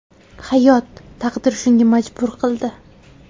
Hayot, taqdir shunga majbur qildi.